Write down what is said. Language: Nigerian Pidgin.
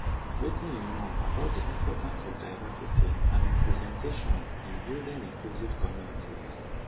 wetin you know about di importance of diversity and representation in building inclusive communities